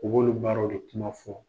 U b'olu baaraw de kuma fɔ.